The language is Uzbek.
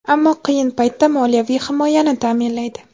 ammo qiyin paytda moliyaviy himoyani ta’minlaydi.